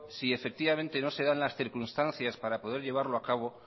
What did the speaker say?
si efectivamente no se dan las circunstancias para poder llevarlo a cabo